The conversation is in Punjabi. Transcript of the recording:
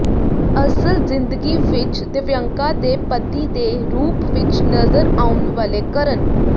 ਅਸਲ ਜ਼ਿੰਦਗੀ ਵਿੱਚ ਦਿਵਯੰਕਾ ਦੇ ਪਤੀ ਦੇ ਰੂਪ ਵਿੱਚ ਨਜ਼ਰ ਆਉਣ ਵਾਲੇ ਕਰਨ